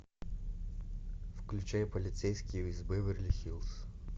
включай полицейский из беверли хиллз